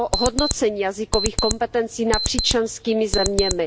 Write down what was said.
hodnocení jazykových kompetencí napříč členskými zeměmi.